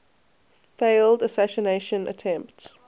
failed assassination attempt